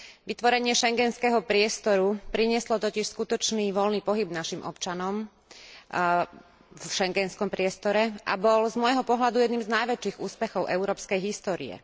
Vytvorenie schengenského priestoru prinieslo totiž skutočný voľný pohyb našim občanom v schengenskom priestore a bol z môjho pohľadu jedným z najväčších úspechov európskej histórie.